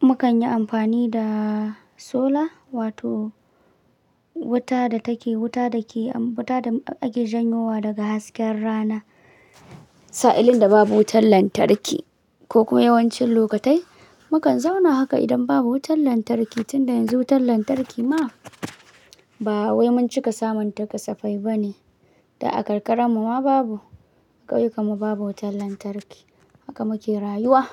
mukan yi amfani da sola wato wuta da take, wuta da ke, wuta da ake janyo wa daga hasken rana. Sa'illin da babu wutar lantarki ko kuma yawancin lokatai mukan zauna haka idan babu wutar lantarki. Tun da yanzu wutar lantarki ma ba wai mun cika samun ta kasafai ba ne. Da a karkara mu ma babu, ƙauye kumar babu wutar lantarki. Haka muke rayuwa.